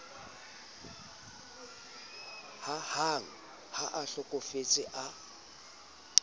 hahang ha a hlokofetse a